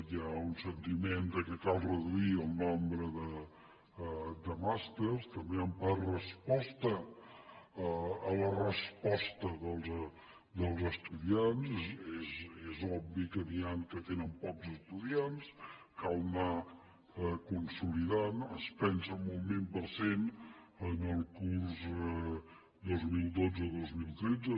hi ha un sentiment que cal reduir el nombre de màsters també en part resposta a la resposta dels estudiants és obvi que n’hi han que tenen pocs estudiants cal anar consolidant es pensa en un vint per cent en el curs dos mil dotze dos mil tretze